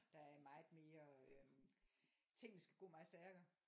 Der er meget mere øhm ting der skal gå meget stærkere